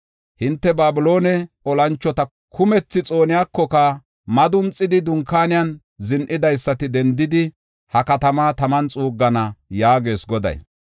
Hinte Babiloone olanchota kumethi xooniyakoka, madunxidi, dunkaanen zin7idaysati dendidi, ha katamaa taman xuuggana” yaagees Goday.